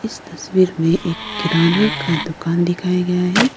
इस तस्वीर में एक किराना का दुकान दिखाया गया है।